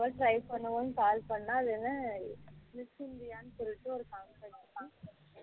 சும்மா try பண்ணுவோம்னனா call பண்ணுனா அது என்ன miss india சொல்லிட்டு ஒரு contract number